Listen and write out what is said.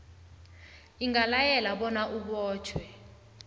ingalayela bona abotjhwe